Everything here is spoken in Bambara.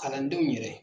Kalandenw yɛrɛ